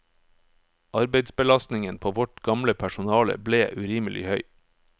Arbeidsbelastningen på vårt gamle personale ble urimelig høy.